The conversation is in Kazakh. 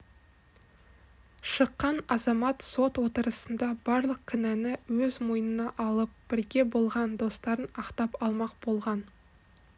шыққан азамат сот отырысында барлық кінәні өз мойнына алып бірге болған достарын ақтап алмақ болған